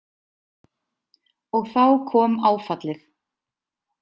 Og þá kom áfallið.